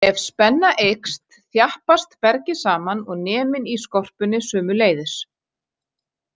Ef spenna eykst, þjappast bergið saman og neminn í skorpunni sömuleiðis.